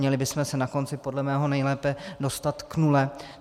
Měli bychom se na konci podle mého nejlépe dostat k nule.